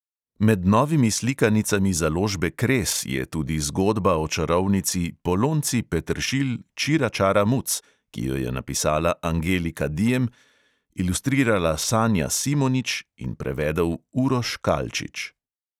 Med novimi slikanicami založbe kres je tudi zgodba o čarovnici polonci peteršilj čira čara muc, ki jo je napisala angelika diem, ilustrirala sanja simonič in prevedel uroš kalčič.